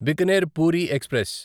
Bikaner Puri express